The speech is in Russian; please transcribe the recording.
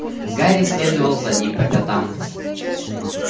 гарри следовал за ним по пятам